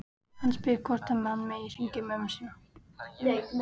Hann spyr hvort hann megi hringja í mömmu sína.